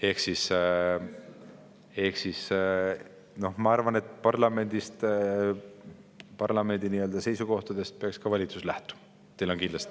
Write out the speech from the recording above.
Ehk siis ma arvan, et parlamendi seisukohtadest peaks valitsus lähtuma.